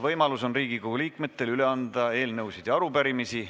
Riigikogu liikmetel on võimalus üle anda eelnõusid ja arupärimisi.